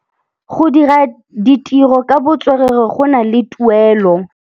Go dira ditirô ka botswerere go na le tuelô.